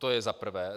To je za prvé.